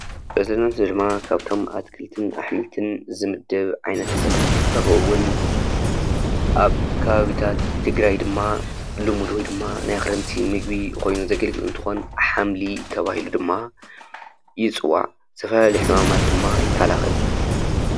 እዚ ምስሊ ድማ ካብቶም ኣትክልትን ኣሕምልትን ዝምደብ ዓይነት ተኽሊ እንትትከውን ኣብ ከባብታት ትግራይ ድማ ልሙድ ወይ ድማ ናይ ክረምቲ ምግቢ ኾይኑ ዘገልግል እንትኾን ሓምሊ ተባሂሉ ድማ ይፅዋዕ፡፡ ዝተፈላለዩ ሕማማት ድማ ይካላኸል፡፡